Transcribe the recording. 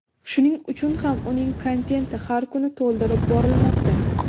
Shuning uchun ham uning kontenti har kuni to‘ldirib borilmoqda.